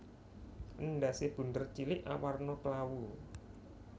Endhasé bunder cilik awarna klawu